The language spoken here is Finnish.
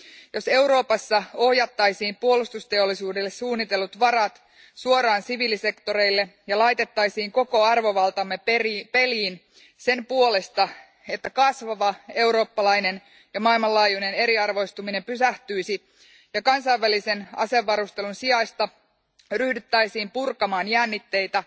Jos Euroopassa ohjattaisiin puolustusteollisuudelle suunnitellut varat suoraan siviilisektoreille ja laitettaisiin koko arvovaltamme peliin sen puolesta, että kasvava eurooppalainen ja maailmanlaajuinen eriarvoistuminen pysähtyisi, ja kansainvälisen asevarustelun sijaista ryhdyttäisiin purkamaan jännitteitä,